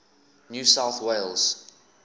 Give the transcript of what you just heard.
new south wales